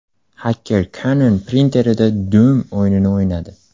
Xaker Canon printerida Doom o‘yinini o‘ynadi.